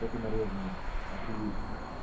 только нарезанный охуеть